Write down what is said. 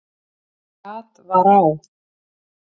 Gat var á